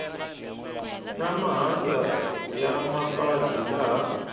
na mahandza ya mapatu laha